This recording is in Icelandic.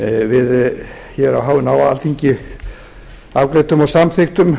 við á hinu háa alþingi afgreiddum og samþykktum